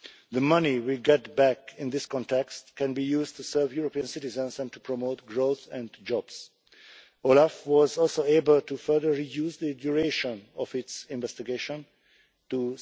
The money we get back in this context can be used to serve European citizens and to promote growth and jobs. OLAF was also able to further reduce the duration of its investigation to